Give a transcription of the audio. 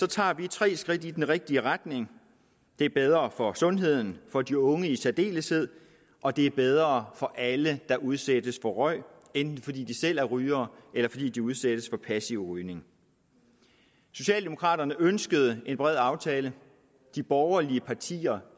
tager vi tre skridt i den rigtige retning det er bedre for sundheden for de unge i særdeleshed og det er bedre for alle der udsættes for røg enten fordi de selv er rygere eller fordi de udsættes for passiv rygning socialdemokraterne ønskede en bred aftale de borgerlige partier